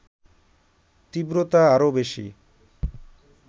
তীব্রতা আরও বেশি